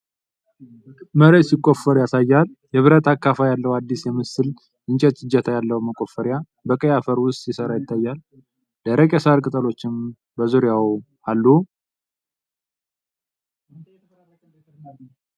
መሬት ሲቆፈር ያሳያል። የብረት አካፋ ያለው አዲስ የሚመስል የእንጨት እጀታ ያለው መቆፈሪያ (አካፋ) በቀይ አፈር ውስጥ ሲሠራ ይታያል። ደረቅ የሳር ቅጠሎችም በዙሪያው አሉ።